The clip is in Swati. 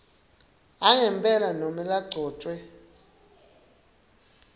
angempela nobe lagcotjwe